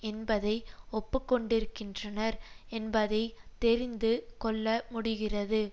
என்பதை ஒப்புக்கொண்டிருக்கின்றனர் என்பதை தெரிந்து கொள்ள முடிகிறது